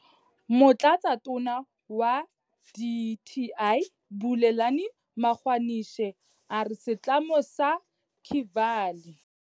Motlatsatona wa dti Bulelani Magwanishe a re setlamo sa Kevali.